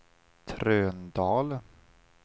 Trönödal